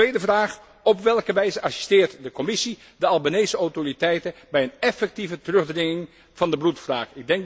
Een tweede vraag op welke wijze assisteert de Commissie de Albanese autoriteiten bij een effectieve terugdringing van de bloedwraak?